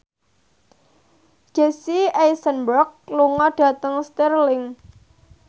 Jesse Eisenberg lunga dhateng Stirling